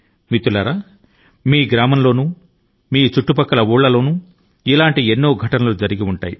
మన దేశ స్వభావం లాగే మీ ఊరిలో లేదా మీ సమీపం లో ఇటువంటి సంఘటన లు జరిగి ఉండాలని నేను గట్టి గా నమ్ముతున్నాను